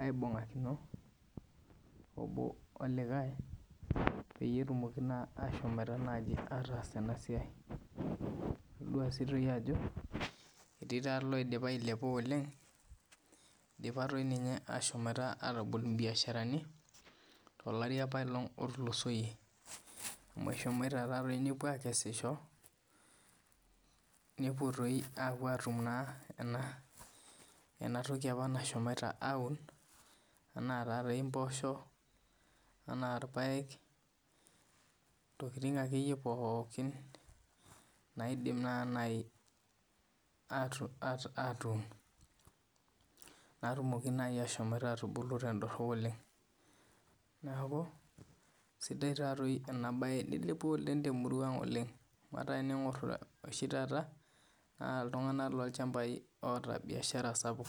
aibungakino ena siai obo olikae petumoki naa ahomo ataas ena siai etodua Ajo etii eloo dipa ailepa oleng etii doi ninye eloidipa ahomo atabol ebiasharani too lati aipalog too lati otulosie amu ehomo nepuo aikesisho nepuo atum ena toki nashomoto aun ena mboshok ena irpaek ntokitin ake iyie pookin naidim atun natumoki naaji ahomo atubulu tedorop oleng neeku sidai ena mbae nilepua ena mbae temurua ang oleng tening'or oshi taata naa iltung'ana loo ilchambai loota biashara sapuk